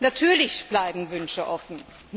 Natürlich bleiben Wünsche offen.